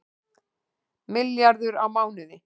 Milljarður á mánuði